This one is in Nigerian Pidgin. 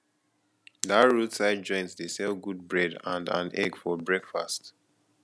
dat roadside joint dey sell good bread and and egg for breakfast